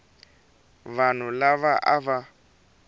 wa vanhu lava a va